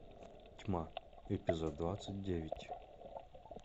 тьма эпизод двадцать девять